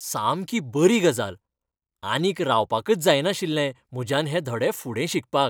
सामकी बरी गजाल! आनीक रावपाकच जायनाशिल्लें म्हज्यान हें धडे फुडें शिकपाक.